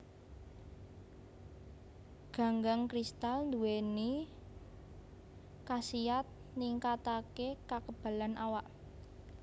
Ganggang kristal nduwèni kasiyat ningkataké kakebalan awak